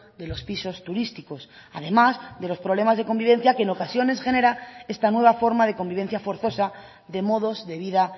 de los pisos turísticos además de los problemas de convivencia que en ocasiones genera esta nueva forma de convivencia forzosa de modos de vida